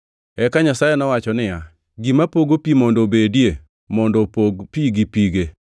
Eka Nyasaye nowacho niya, “Gima pogo pi mondo obedie mondo opog pi gi pige.”